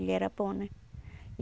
Ele era bom, né?